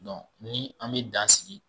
ni an bi dan sigi.